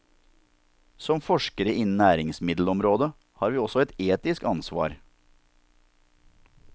Som forskere innen næringsmiddelområdet har vi også et etisk ansvar.